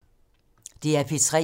DR P3